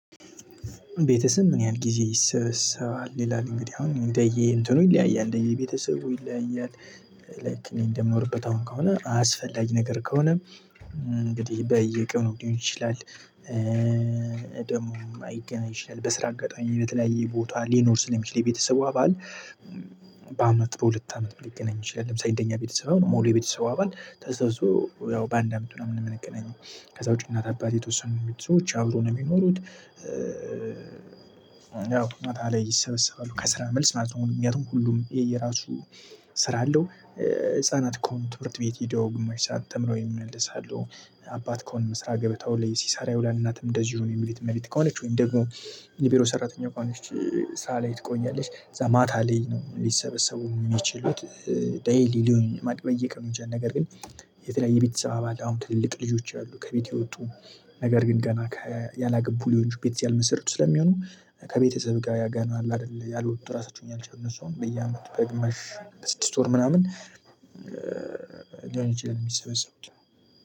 ቤተሰብ? ምን ያህል ጊዜ ይሰበሰባል ይላል እንግዲህ አሁን እንደየ እንትኑ ይለያያል እንደየ ቤተሰቡ ይለያያል። ላይክ እንደምኖርበት አሁን ከሆነ አስፈላጊ ነገር ከሆነም እንግዲህ በየቀኑ ሊሆን ይችላል። ደግሞ አይገናኝ ይችላል በስራ አጋጣሚ በተለያየ ቦታ ሊኖር ስለሚችል የቤተሰቡ አባል። በአመት በሁለት አመት ሊገናኝ ይችላል ለምሳሌ እንደኛ ቤተሰብ አሁን ሙሉ የቤተሰቡ አባል ተሰብስቦ ያው በአንድ አመት ምና ምን ምንገናኘው ከዛ ውጪ እናት፣ አባት፣ የተወሰኑ የቤተሰቡ ሰዎች አብረው ነው የሚኖሩት። ያው ማታ ላይ ይሰበሰባሉ ከስራ መልስ ማለት ነው። አሁን ምክንያቱም ሁሉም የየራሱ ስራ አለው። ህፃናት ከሆኑ ትምህርት ቤት ሄደው ግማሽ ሰዓት ተምረው ይመለሳሉ አባት ከሆነ በስራ ገበታው ላይ ሲሳራ ይውላል እናትም እንደዚሁ የቤት እመቤት ከሆነች ወይም ደግሞ የቢሮ ሰራተኛ ከሆነች ስራ ላይ ትቆያለች ከዛ ማታ ላይ ነው ሊሰበሰቡ የሚችሉት። ደይሊ ሊሆን ማቅረብ በየቀኑ ይችላል ነገር ግን። የተለያየ ቤተሰብ አባል አሁን ትልልቅ ልጆች አሉ ከቤት የወጡ ነገር ግን ገና ያላገቡ ልጆቹ ቤተሰብ ያልመሰረቱ ስለሚሆኑ ከቤተሰብ ጋር ያገና አለ አይደለ ያልወጡ ራሳቸውን ያልቻሉ እነሱ አሁን በየአመቱ በግመሽ በስድስት ወር ምናምን። ሊሆን ይችላል የሚሰበሰቡት።